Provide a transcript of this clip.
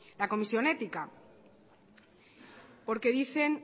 la comisión ética porque dicen